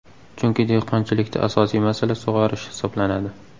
Chunki dehqonchilikda asosiy masala sug‘orish hisoblanadi.